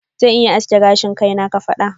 Zan iya samun aski gashi na kafada.